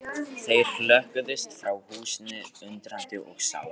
Þeir hrökkluðust frá húsinu, undrandi og sárir.